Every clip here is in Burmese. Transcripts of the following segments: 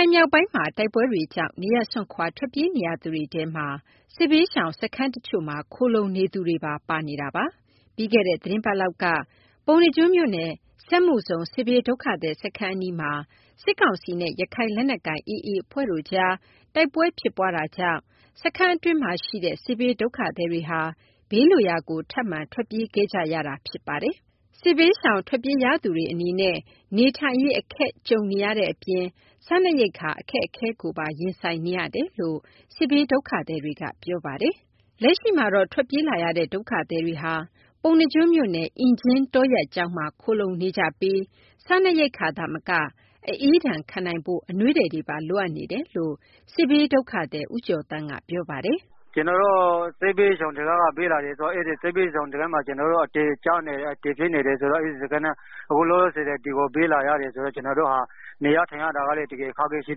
ိုင်မြောက်ပိုင်းမှာ တိုက်ပွဲတွေကြောင့် နေရပ်စွန့်ခွာ ထွက်ပြေးနေရသူတွေထဲမှာ စစ်ဘေးရှောင် စခန်းတချို့မှာ ခိုလှုံနေသူတွေပါ ပါနေတာပါ။ ပြီးခဲ့တဲ့ သတင်းပတ်လောက်က ပုဏ္ဏားကျွန်းမြို့နယ် စက်မှုဇုန် စစ်ဘေးဒုက္ခသည် စခန်းအနီးမှာ စစ်ကောင်စီနဲ့ ရခိုင်လက်နက်ကိုင်AAအဖွဲ့တို့ကြား တိုက်ပွဲဖြစ်ပွားတာကြောင့် စခန်းအတွင်း မှာရှိတဲ့ စစ်ဘေးဒုက္ခသည်တွေဟာ ဘေးလွတ်ရာကို ထပ်မံထွက်ပြေးခဲ့ကြရတာ ဖြစ်ပါတယ်။ စစ်ဘေးရှောင် ထွက်ပြေးရသူတွေ အနေနဲ့ နေထိုင်ရေး အခက်ကြုံ နေရတဲ့အပြင် စားနပ်ရိက္ခာ အခက်အခဲကိုပါ ရင်ဆိုင်နေရတယ်လို့ စစ်ဘေးဒုက္ခသည် တွေက ပြောပါတယ်။ လက်ရှိမှာတော့ ထွက်ပြေးလာရတဲ့ ဒုက္ခသည်တွေဟာ ပုဏ္ဏားကျွန်းမြို့နယ် အင်ကြင်းတောရပ်ကျောင်းမှာ ခိုလှုံနေကြပြီး စားနပ်ရိက္ခာ သာမက အအေးဒဏ်ခံနိုင်ဖို့ အနွေးထည်တွေပါ လိုအပ်နေတယ်လို့ စစ်ဘေးဒုက္ခသည် ဦးကျော်သန်းက ပြောပါတယ်။ “ ကျနော်တို့ အတည်တကျနေတဲ့ စစ်ဘေးဒုက္ခသည် စခန်းကနေ ပြေးလာရတာဆိုတော့ ဒီမှာ နေရထိုင်ရတာကလည်း အဆင်မပြေ အခက်အခဲရှိ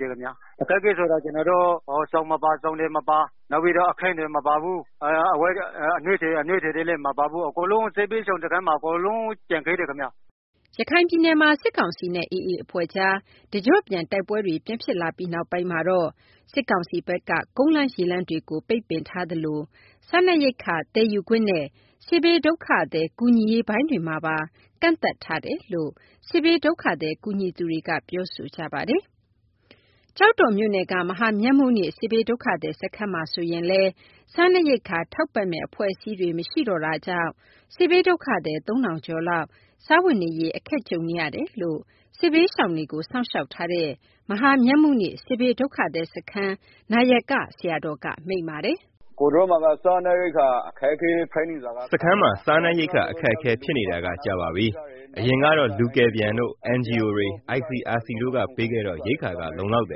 တယ်။ အခက်အခဲဆိုတာ စောင်တွေ၊ အခင်းတွေ မပါဘူး။ နောက်ပြီးတော့ အနွေးထည်တွေလည်း မပါဘူး။ အကုန်လုံး စစ်ဘေး ဒုက္ခသည်စခန်းမှာ ကျန်ခဲ့တယ်ခင်ဗျ။” ရခိုင်ပြည်နယ်မှာ စစ်ကောင်စီနဲ့ AA အဖွဲ့ကြား တကြော့ပြန်တိုက်ပွဲတွေ ပြန်ဖြစ်လာပြီး နောက်ပိုင်းမှာတော့ စစ်ကောင်စီဘက်က ကုန်းလမ်း၊ ရေလမ်းတွေကို ပိတ်ပင်ထားသလို စားနပ်ရိက္ခာသယ်ယူခွင့်နဲ့ စစ်ဘေးဒုက္ခသည် ကူညီရေးပိုင်းတွေမှာပါ ကန့်သတ်ထား တယ်လို့လည်း စစ်ဘေးဒုက္ခသည် ကူညီသူတွေက ပြောဆိုကြပါတယ်။ ကျောက်တော်မြို့နယ်က မဟာမြတ်မုနိ စစ်ဘေးဒုက္ခသည်စခန်းမှာ ဆိုရင်လည်း စားနပ်ရိက္ခာ ထောက်ပံ့မယ့်အဖွဲ့အစည်းတွေ မရှိတော့တာတာကြောင့် စစ်ဘေးဒုက္ခသည် ၃,၀၀၀ ကျော်လောက် စားဝတ်နေရေး အခက်ကြုံနေရတယ်လို့ စစ်ဘေးရှောင်တွေကို စောင့်ရှောက်ထားတဲ့ မဟာမြတ်မုနိ စစ်ဘေး ဒုက္ခသည်စခန်း နာယက ဆရာတော်က မိန့်ပါတယ်။ “ ကိုယ်တော်တို့ စခန်းမှာ စားနပ်ရိက္ခာ အခက်အခဲဖြစ်နေတာက ကြာပါပြီ။ အရင်ကတော့ လူကယ်ပြန်တို့၊ NGO တွေ ၊ ICRC တို့က ပေးခဲ့တော့ ရိက္ခာလုံလောက်တ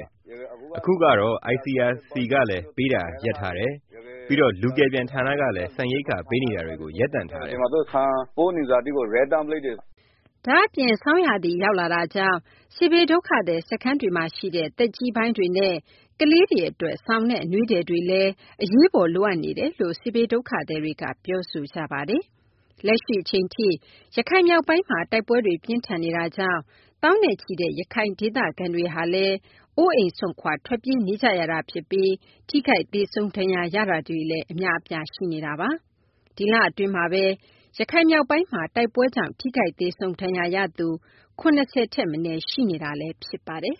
ယ်။ အခုကတာ့ ICRC ကလည်း ပေးတာရပ်ထားတယ်။ ပြီးတော့ လူကယ်ပြန်ဌာန ကလည်း ဆန်ရိက္ခာ ပေးနေတာတွေကို ရပ်တန့်ထားတယ်” ဒါ့အပြင် ဆောင်ရာသီ ရောက်လာတာကြောင့် စစ်ဘေးဒုက္ခသည် စခန်းတွေမှာ ရှိတဲ့ သက်ကြီးပိုင်းတွေနဲ့ ကလေးတွေအတွက် စောင်နဲ့ အနွေထည်တွေလည်း အရေးပေါ် လိုအပ်နေတယ်လို့ စစ်ဘေးဒုက္ခသည်တွေက ပြောဆိုကြပါတယ်။ လက်ရှိအချိန်ထိ ရခိုင်မြောက်ပိုင်းမှာ တိုက်ပွဲတွေ ပြင်းထန်နေတာကြောင့် သောင်းနဲ့ချီတဲ့ ရခိုင်ဒေသခံတွေ ဟာလည်း အိုးအိမ်စွန့်ခွာ ထွက်ပြေးနေကြရတာ ဖြစ်ပြီး ထိခိုက်သေဆုံး ဒဏ်ရာရတာတွေလည်း အများအပြားရှိနေတာပါ။ ဒီလအတွင်းမှာပဲ ရခိုင်မြောက်ပိုင်းမှာ တိုက်ပွဲကြောင့် ထိခိုက်သေဆုံး ဒဏ်ရာရသူ ၇၀ ထက်မနည်း ရှိနေတာလည်း ဖြစ်ပါတယ်